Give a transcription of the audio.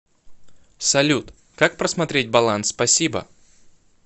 салют как просмотреть баланс спасибо